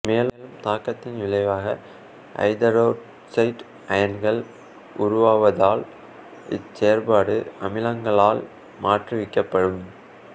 மேலுள்ள தாக்கத்தின் விளைவாக ஐதரொட்சைட் அயன்கள் உருவாவதால் இச்செயற்பாடு அமிலங்களால் மாற்றுவிக்கப்படும்